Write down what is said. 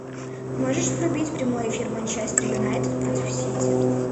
можешь врубить прямой эфир манчестер юнайтед против сити